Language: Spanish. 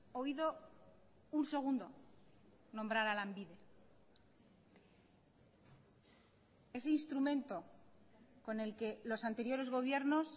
oído un segundo nombrar a lanbide ese instrumento con el que los anteriores gobiernos